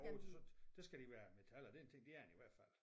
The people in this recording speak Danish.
Jo så der skal de være af metal og den ting det er den i hvert fald